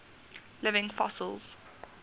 living fossils